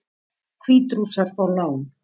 Hvítrússar fá lán